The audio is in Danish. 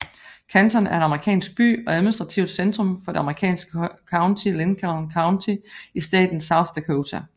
Canton er en amerikansk by og administrativt centrum for det amerikanske county Lincoln County i staten South Dakota